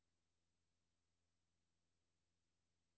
Vælg første fil i favoritter.